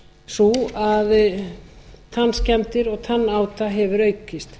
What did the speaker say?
sú að tannskemmdir og tannáta hefur aukist